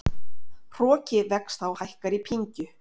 Hroki vex þá hækkar í pyngju.